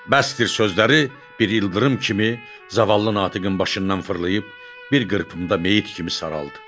Bəsdir sözləri bir ildırım kimi zavallı Natiqin başından fırlayıb, bir qırpımda meyit kimi saraldı.